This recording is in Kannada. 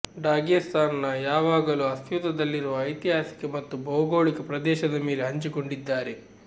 ಡಾಗೆಸ್ತಾನ್ನ ಯಾವಾಗಲೂ ಅಸ್ತಿತ್ವದಲ್ಲಿರುವ ಐತಿಹಾಸಿಕ ಮತ್ತು ಭೌಗೋಳಿಕ ಪ್ರದೇಶದ ಮೇಲೆ ಹಂಚಿಕೊಂಡಿದ್ದಾರೆ